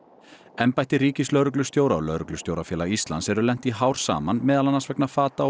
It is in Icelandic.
embætti ríkislögreglustjóra og Lögreglustjórafélag Íslands eru lent í hár saman meðal annars vegna fata og